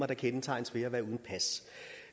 kendetegnes ved at være uden pas